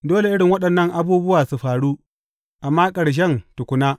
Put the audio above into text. Dole irin waɗannan abubuwa su faru, amma ƙarshen tukuna.